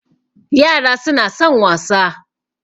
yara suna son wasa